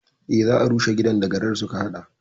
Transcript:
Eh, za a rushe gidan da garar suka haɗa